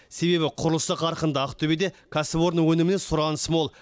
себебі құрылысы қарқынды ақтөбеде кәсіпорын өніміне сұраныс мол